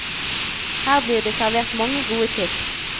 Her blir det servert mange gode tips.